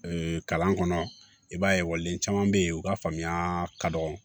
kalan kɔnɔ i b'a ye ekɔliden caman bɛ yen u ka faamuya ka dɔgɔ